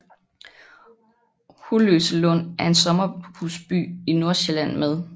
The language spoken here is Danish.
Holløselund er en sommerhusby i Nordsjælland med